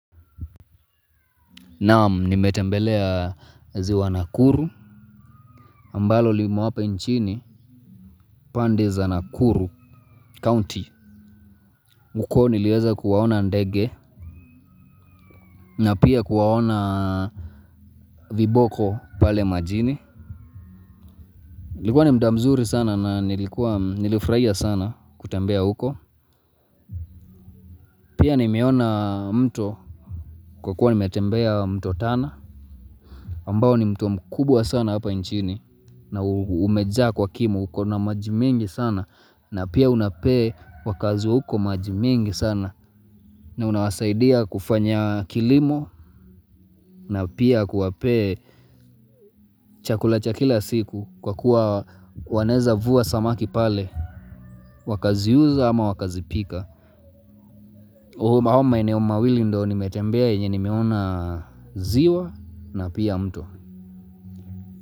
Naam nimetembelea ziwa Nakuru Ambalo limo hapa nchini pande za Nakuru County. Uko niliweza kuwaona ndege. Na pia kuwaona viboko pale majini ulikuwa ni muda mzuri sana na nilifurahia sana kutembea huko. Pia nimeona mto kwa kuwa nimetembea mto tana ambao ni mto mkubwa sana hapa nchini. Na umejaa kwa kimo. Uko na maji mingi sana. Na pia unapea wakazi wa huko maji mingi sana. Na unawasaidia kufanya kilimo. Na pia kuwapea chakula cha kila siku kwa kuwa wanaweza vua samaki pale. Wakaziuza ama wakazipika haya maeneo mawili ndiyo nimetembea yenye nimeona ziwa na pia mto.